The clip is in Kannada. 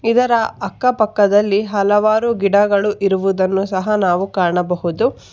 ಇದರ ಅಕ್ಕಪಕ್ಕದಲ್ಲಿ ಹಲವಾರು ಗಿಡಗಳು ಇರುವುದನ್ನು ಸಹ ನಾವು ಕಾಣಬಹುದು.